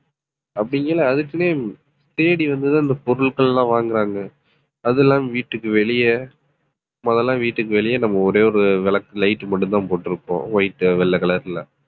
அப்படிங்கையில அதுக்குன்ன தேடி வந்துதான் அந்த பொருட்கள் எல்லாம் வாங்குறாங்க. அது இல்லாம வீட்டுக்கு வெளிய முதல்ல எல்லாம் வீட்டுக்கு வெளியே நம்ம ஒரே ஒரு விளக்கு light மட்டும்தான் போட்டிருப்போம் white வெள்ளை color ல